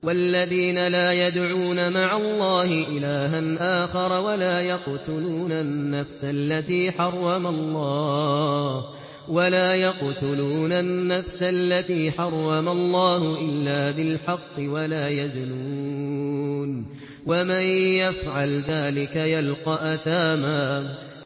وَالَّذِينَ لَا يَدْعُونَ مَعَ اللَّهِ إِلَٰهًا آخَرَ وَلَا يَقْتُلُونَ النَّفْسَ الَّتِي حَرَّمَ اللَّهُ إِلَّا بِالْحَقِّ وَلَا يَزْنُونَ ۚ وَمَن يَفْعَلْ ذَٰلِكَ يَلْقَ أَثَامًا